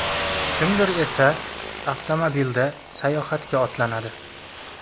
Kimdir esa avtomobilda sayohatga otlanadi.